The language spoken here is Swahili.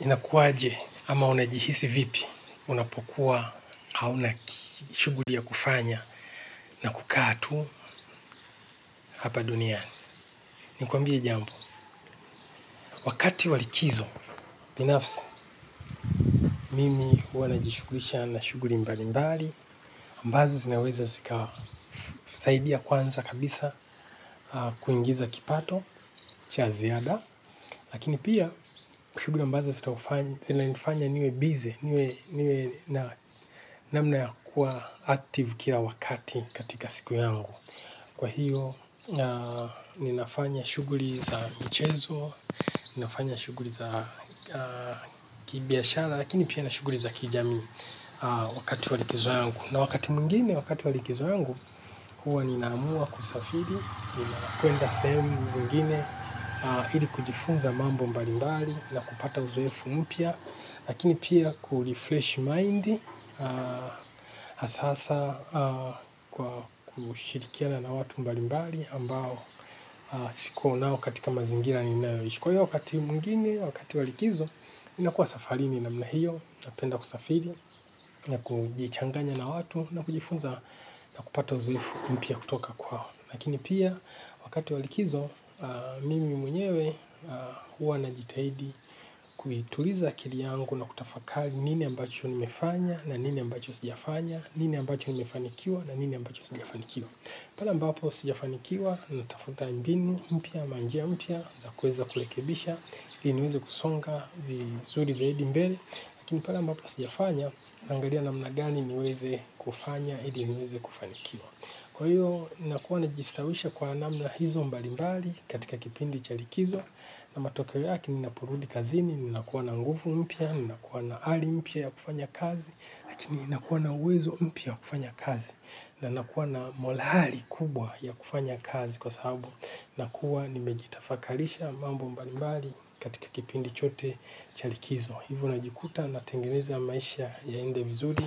Inakuwaje au unajihisi vipi unapokuwa huna shughuli ya kufanya na unakaa tu hapa duniani? Nikuambie jambo? Wakati wa likizo, binafsi, mimi huwa najishughulisha na shughuli mbalimbali. Ambazo zinaweza zikasaidia kwanza kabisa kuingiza kipato cha ziada. Lakini pia, kuna shughuli ambazo zinanifanya niwe busy, niwe na namna kuwa active kila wakati katika siku yangu. Kwa hiyo, ninafanya shughui za michezo, ninafanya shughui za kibiashara, lakini pia na shughuli za kijamii wakati wa likizo yangu. Na wakati mwingine, wakati wa likizo yangu, huwa ninaamua kusafiri, nina kwenda sehemu zingine, ili kujifunza mambo mbalimbali na kupata uzoefu mpya, lakini pia ku refresh mind, hasa hasa. Kwa kushirikiana na watu mbalimbali ambao sikuwa nao katika mazingira ninayoishi. Kwa hiyo wakati mwingine, wakati wa likizo, ninakuwa safarini namna hiyo, napenda kusafiri, na kujichanganya na watu, na kujifunza na kupata uzoefu mpya kutoka kwao. Lakini pia, wakati wa likizo, mimi mwenyewe huwa najitahidi kuituliza akili yangu na kutafakari nini ambacho nimefanya, na nini ambacho sijafanya, nini ambacho nimefanikiwa, na nini ambacho sijafanikiwa. Pale ambapo sijafanikiwa, natafuta mbinu, mpya, ama njia mpya, za kuweza kurekebisha, ili niweze kusonga vizuri zaidi mbele. Lakini pale ambapo sijafanya, naangalia namna gani niweze kufanya, ili niweze kufanikiwa. Kwa hiyo, ninakuwa najistawisha kwa namna hizo mbalimbali katika kipindi cha likizo. Na matokeo yake ninaporudi kazini ninakuwa na nguvu mpya, ninakuwa na ari mpya ya kufanya kazi, lakini ninakuwa na uwezo mpya wa kufanya kazi. Na nakuwa na morali kubwa ya kufanya kazi kwa sababu nakuwa nimejitafakarisha mambo mbalimbali katika kipindi chote cha likizo. Hivyo najikuta natengeneza maisha yaende vizuri